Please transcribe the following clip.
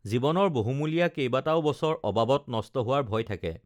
জী‌ৱনৰ বহুমূ্লীয়া কেইবাটাও বছৰ অবাবত নষ্ট হো‌ৱাৰ ভয় থাকে